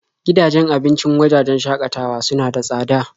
Gidajen abincin wajajen shakatawa suna da tsada.